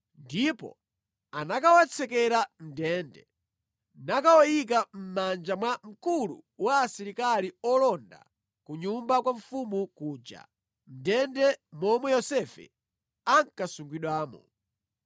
ndipo anakawatsekera mʼndende, nakawayika mʼmanja mwa mkulu wa asilikali olonda ku nyumba kwa mfumu kuja, mʼndende momwe Yosefe ankasungidwamo.